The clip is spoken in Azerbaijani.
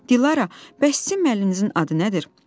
Dilara, bəlkə sizin müəlliminizin adı nədir?